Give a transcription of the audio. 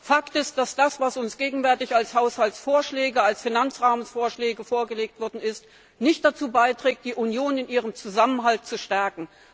Fakt ist, dass das, was uns gegenwärtig als Haushaltsvorschläge, als Finanzrahmenvorschläge vorgelegt wurde, nicht dazu beiträgt, die Union in ihrem Zusammenhalt zu stärken.